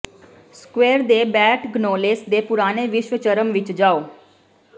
square ਦੇ Batignolles ਦੇ ਪੁਰਾਣੇ ਵਿਸ਼ਵ ਚਰਮ ਵਿੱਚ ਜਾਓ